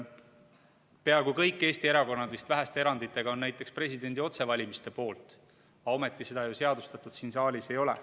Peaaegu kõik Eesti erakonnad, vist väheste eranditega, on näiteks presidendi otsevalimiste poolt, aga ometi seda ju seadustatud siin saalis ei ole.